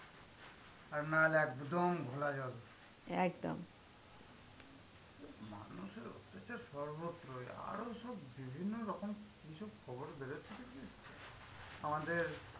আর না হলে একদম ঘোলা জল. মানুষের অত্যাচার সর্বত্রই আরো সব বিভিন্ন রকম কি সব খবর বেরোচ্ছে দেখেছিস? আমাদের